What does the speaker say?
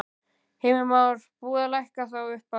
Heimir Már: Búið að lækka þá upphæð?